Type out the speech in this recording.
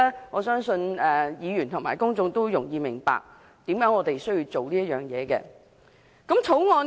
我相信議員和公眾都容易明白，為甚麼我們需要做這工作。